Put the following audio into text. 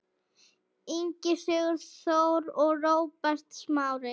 Ingi Sigþór og Róbert Smári.